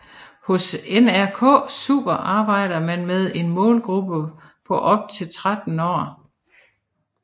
Hos NRK Super arbejder man med en målgruppe på op til 13 år